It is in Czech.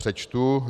Přečtu: